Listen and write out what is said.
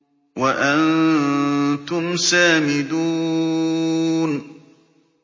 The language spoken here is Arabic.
وَأَنتُمْ سَامِدُونَ